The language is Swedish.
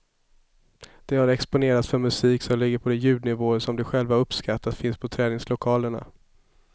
De har exponerats för musik som ligger på de ljudnivåer som de själva har uppskattat finns på träningslokalerna.